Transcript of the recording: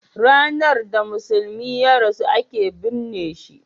ranar da musulmi ya rasu a ke binne shi